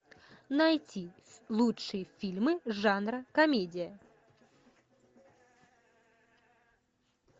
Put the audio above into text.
найти лучшие фильмы жанра комедия